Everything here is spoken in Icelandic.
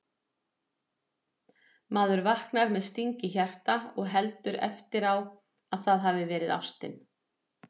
Maður vaknar með sting í hjarta og heldur eftir á að það hafi verið ástin